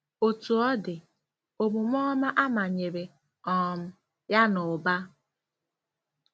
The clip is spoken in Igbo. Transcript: Otú ọ dị, omume ọma a manyere um ya n'ụba.